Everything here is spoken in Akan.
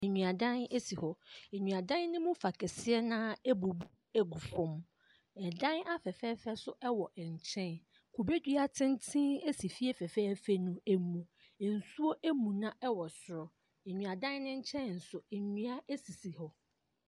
Nnuadan si hɔ. Nnuadan ne mu fa kɛseɛ no ara abu agu fam. Dan afɛfɛɛfɛ nso wɔ nkyɛn. Kubedua tententen nso si fie fɛfɛɛfɛ no mu. Nsuo amuna wɔ soro. Nnuadan ne nkyɛn so nnua sisi hɔ.